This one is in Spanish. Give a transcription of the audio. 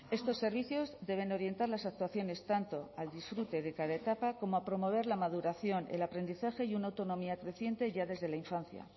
estos servicios deben orientar las actuaciones tanto al disfrute de cada etapa como a promover la maduración el aprendizaje y una autonomía creciente ya desde la infancia